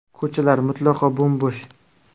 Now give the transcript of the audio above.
Ko‘chalar mutlaqo bo‘m-bo‘sh!